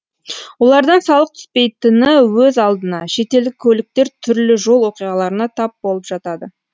олардан салық түспейтіні өз алдына шетелдік көліктер түрлі жол оқиғаларына тап болып жатады